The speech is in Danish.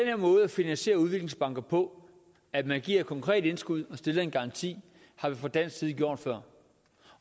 her måde at finansiere udviklingsbanker på at man giver et konkret indskud og stiller en garanti har vi fra dansk side gjort før